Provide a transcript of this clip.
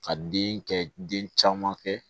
Ka den kɛ den caman kɛ